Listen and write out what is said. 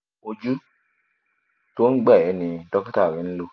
ojú tó ń gbà ẹ́ ni dókítà rẹ ń lò